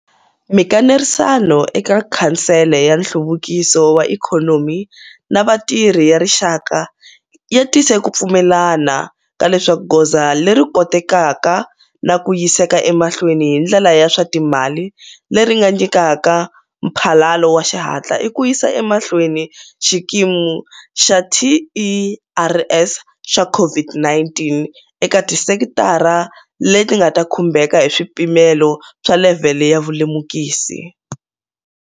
Mikanerisano eka Khansele ya Nhluvukiso wa Ikhonomi na Vatirhi ya Rixaka yi tise ku pfumelelana ka leswaku goza leri kotekaka na ku yiseka emahleweni hi ndlela ya swa timali leri nga nyikaka mphalalo wa xihatla i ku yisa emahlweni xikimi xa TERS xa COVID-19 eka tisekitara leti nga ta khumbeka hi swipimelo swa levhele ya vulemukisi.